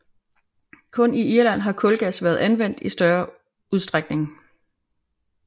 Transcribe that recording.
Kun i Irland har kulgas været anvendt i større udstrækning